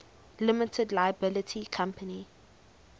limited liability company